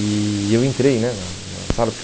E eu entrei, né? Na na sala